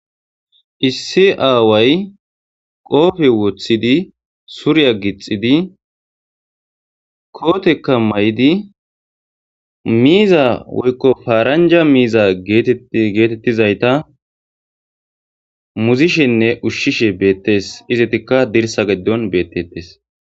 issi aaway qoofe wothidi surya gixidi kootekka may7di miiza woykko faaranja miiza geetettizayta muzishenne ushshishe beettes izetikka dirsa geddon beettettes